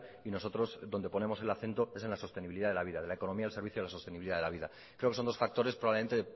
y nosotros donde ponemos el acento es en la sostenibilidad de la vida de la economía al servicio de la sostenibilidad de la vida creo que son dos factores probablemente